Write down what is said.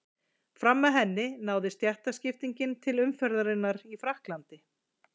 Fram að henni náði stéttaskiptingin til umferðarinnar í Frakklandi.